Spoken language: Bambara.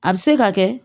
A bɛ se ka kɛ